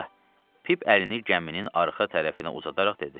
Pip əlini gəminin arxa tərəfinə uzadaraq dedi.